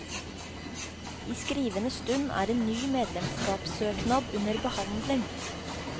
I skrivende stund er en ny medlemskapssøknad under behandling.